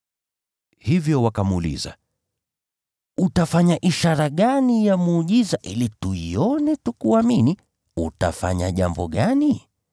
Hivyo wakamuuliza, “Utafanya ishara gani ya muujiza, ili tuione tukuamini? Utafanya jambo gani?